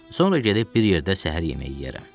Sonra gedib bir yerdə səhər yeməyi yeyərəm.